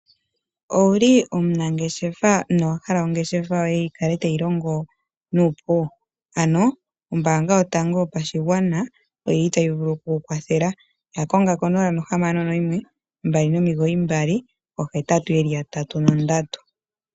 Owuli omunangeshefa nowahala ongeshefa yoye yi kale tayi longo nuupu . Ombaanga yotango yopashigwana oyili tayi vulu okukukwathela . Yakonga 0612998883.